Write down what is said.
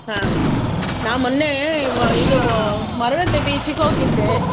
ಹಾ, ನಾ ಮೊನ್ನೆ ಇದು Maravanthe beach ಗೆ ಹೋಗಿದ್ದೇ.